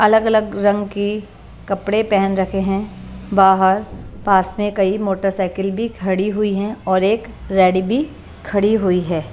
अलग-अलग रंग की कपड़े पहन रखे हैं बाहर पास में कई मोटरसाइकिल भी खड़ी हुई हैं और एक रेडी भी खड़ी हुई है।